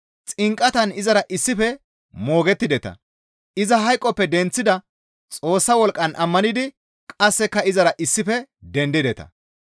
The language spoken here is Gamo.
Xinqatan izara issife moogettideta; iza hayqoppe denththida Xoossa wolqqan ammanidi qasseka izara issife dendideta.